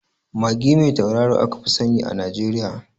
Magi mai tauraro aka fi sani a Najeriya